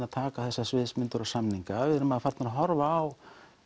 að taka þessar sviðsmyndir og samninga við erum farnir að horfa á